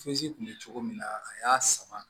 fezi kun be cogo min na a y'a sama